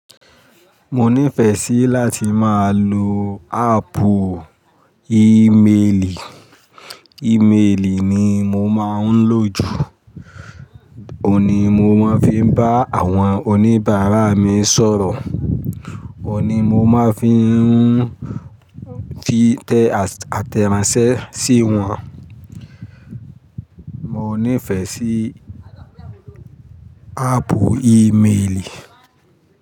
Mo nífẹ̀ẹ́ sí láti máa lo áàpù ímeèlì. Ímeèlì ni mo máa ń lò jù. Óun ni mo máa ń fi bá àwọn oníbàárà mi sọ̀rọ̀. Óun ni mo máa ń fi tẹ àtẹ̀ránsẹ́ sí wọn. Mo nífẹ̀ẹ́ sí áàpù ímeèlì.